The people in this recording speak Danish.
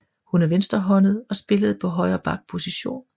Hun er venstrehåndet og spillede på højre back position